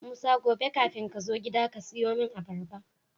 musa gobe kafin kazo gida kasiyo mun abarba